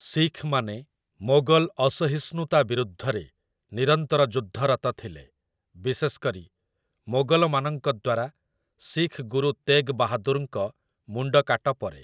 ଶିଖ୍‌ମାନେ ମୋଗଲ ଅସହିଷ୍ଣୁତା ବିରୁଦ୍ଧରେ ନିରନ୍ତର ଯୁଦ୍ଧରତ ଥିଲେ, ବିଶେଷ କରି, ମୋଗଲମାନଙ୍କ ଦ୍ୱାରା ଶିଖ୍ ଗୁରୁ ତେଗ୍ ବାହାଦୁର୍‌ଙ୍କ ମୁଣ୍ଡ କାଟ ପରେ ।